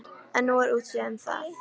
En nú er útséð um það.